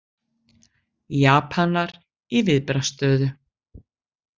Japanar í viðbragðsstöðu